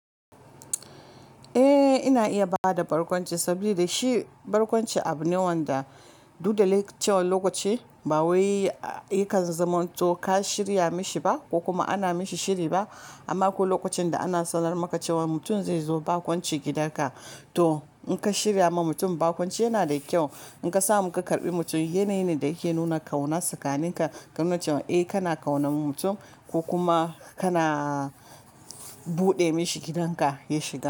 Eh ina iya bada barkwanci saboda shi barkwanci abu ne wanda duk da likita lokaci ba waye ya kan zama to ka shirya mishi ba ko kuma ana mishi shiri ba. Amma akwai lokacin da ana sanar maka cewa mutum zai zo barkwanci gidanka to in ka shirya ma mutum barkwanci yana da kyau. In ka samu ka karbi mutum yana yana da yake nuna ƙauna tsakanin ka domin cewa eh kana ƙauna mutum ko kuma kana buɗe mishi gidanka ya shiga.